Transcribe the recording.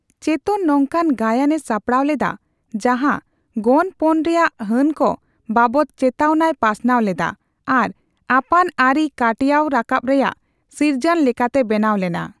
ᱪᱮᱛᱚᱱ ᱱᱚᱝᱠᱟᱱ ᱜᱟᱭᱟᱱᱮ ᱥᱟᱯᱲᱟᱣ ᱞᱮᱫᱟ ᱡᱟᱦᱟᱸ ᱜᱚᱱᱯᱚᱱ ᱨᱮᱭᱟᱜ ᱦᱟᱹᱱᱠᱚ ᱵᱟᱵᱚᱛ ᱪᱮᱛᱟᱣᱱᱟᱭ ᱯᱟᱥᱱᱟᱣ ᱞᱮᱫᱟ ᱟᱨ ᱟᱯᱟᱛ ᱟᱹᱨᱤ ᱠᱟᱴᱭᱟᱣ ᱨᱟᱠᱟᱵ ᱨᱮᱭᱟᱜ ᱥᱤᱨᱤᱡᱟᱱ ᱞᱮᱠᱟᱛᱮ ᱵᱮᱱᱟᱣ ᱞᱮᱱᱟ ᱾